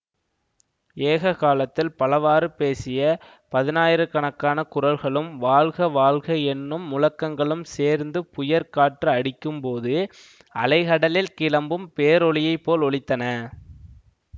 ஏககாலத்தில் பலவாறு பேசிய பதினாயிரக்கணக்கான குரல்களும் வாழ்க வாழ்க என்னும் முழக்கங்களும் சேர்ந்து புயற்காற்று அடிக்கும்போது அலைகடலில் கிளம்பும் பேரொலியைப் போல் ஒலித்தன